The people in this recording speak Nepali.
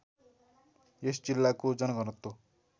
यस जिल्लाको जनघनत्व